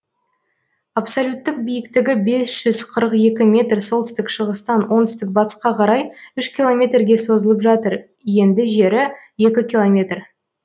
абсолюттік биіктігі бес жүз қырық екі метр солтүстік шығыстан оңтүстік батысқа қарай үш километрге созылып жатыр енді жері екі километр